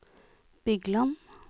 Bygland